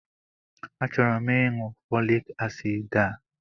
A chọrọ m ịṅụ fọlik asid a.